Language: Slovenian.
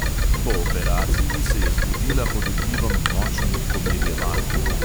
Po operaciji se je zbudila pod vplivom močnih pomirjeval.